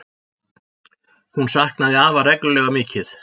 Hún saknaði afa reglulega mikið.